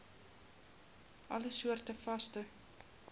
alle soorte vaste